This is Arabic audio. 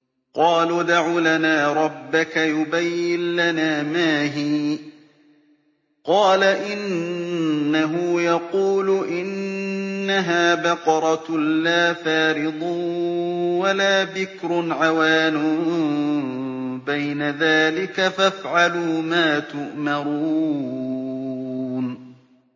قَالُوا ادْعُ لَنَا رَبَّكَ يُبَيِّن لَّنَا مَا هِيَ ۚ قَالَ إِنَّهُ يَقُولُ إِنَّهَا بَقَرَةٌ لَّا فَارِضٌ وَلَا بِكْرٌ عَوَانٌ بَيْنَ ذَٰلِكَ ۖ فَافْعَلُوا مَا تُؤْمَرُونَ